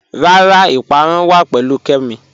Rárá, ìpárún wà pẹ̀lú Kẹ́mí